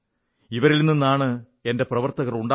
ഇവരിൽ നിന്നാണ് എന്റെ പ്രവർത്തകർ ഉണ്ടാകുന്നത്